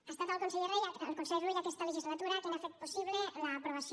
ha estat el conseller rull en aquesta legislatura qui n’ha fet possible l’aprovació